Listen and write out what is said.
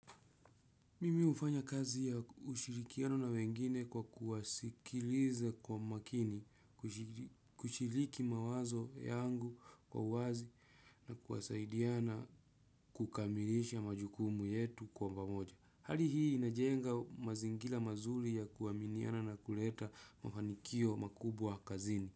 Mimi hufanya kazi ya ushirikiano na wengine kwa kuwasikiliza kwa makini, kushiriki mawazo yangu kwa wazi na kuwasaidia na kukamilisha majukumu yetu kwa pamoja. Hali hii inajenga mazingira mazuri ya kuaminiana na kuleta mafanikio makubwa kazini.